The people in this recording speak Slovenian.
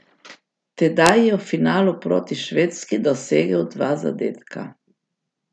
Tedaj je v finalu proti Švedski dosegel dva zadetka.